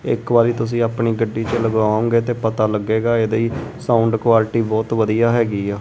ਇੱਕ ਵਾਰੀ ਤੁਸੀਂ ਆਪਣੀ ਗੱਡੀ ਚ ਲਗਾਉਗੇ ਤੇ ਪਤਾ ਲੱਗੇਗਾ ਇਹਦੀ ਸਾਊਂਡ ਕੁਆਲਿਟੀ ਬਹੁਤ ਵਧੀਆ ਹੈਗੀ ਆ।